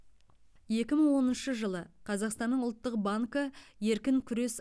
екі мың оныншы жылы қазақстанның ұлттық банкі еркін күрес